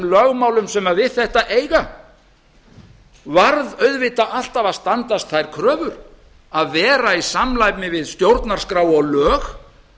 lögmálum sem við þetta eiga varð auðvitað alltaf að standast þær kröfur að vera í samræmi við stjórnarskrá og lög